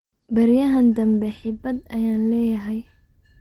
Beriyahan dambe xibad ayan leeyahy.